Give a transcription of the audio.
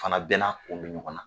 Fana bɛɛ na kun bi ɲɔgɔn na.